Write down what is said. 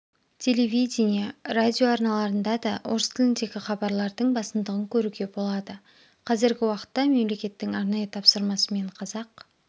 телевидения радио арналарында да орыс тіліндегі хабарлардың басымдығын көруге болады казіргі уақытта мемлекеттің арнайы тапсырмасымен қазақ